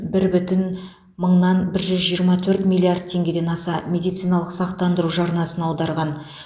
бір бүтін мыңнан бір жүз жиырма төрт миллиард теңгеден аса медициналық сақтандыру жарнасын аударған